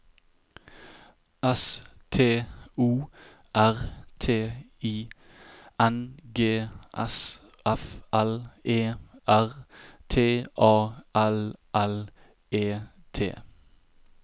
S T O R T I N G S F L E R T A L L E T